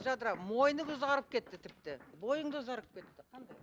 жадыра мойының ұзарып кетті тіпті бойың да ұзарып кетті қандай